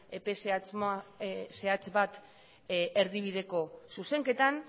epe zehatz bat erdibideko zuzenketan